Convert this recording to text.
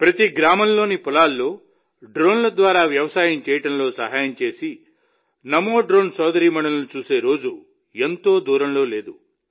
ప్రతి గ్రామంలోని పొలాల్లో డ్రోన్ల ద్వారా వ్యవసాయం చేయడంలో సహాయం చేసే నమో డ్రోన్ సోదరీమణులను చూసే రోజు ఎంతో దూరంలో లేదు